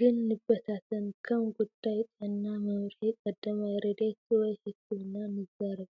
ግን ንበታተን፤ ከም ጉዳይ ጥዕና፡ መምርሒ ቀዳማይ ረድኤት፡ ወይ ሕክምና ንዛረብ።